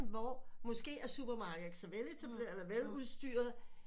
Hvor måske at supermarket ikke er så veletableret eller veludstyret